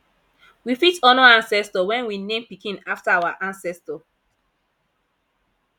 we fit honor ancestor when we name pikin after our ancestor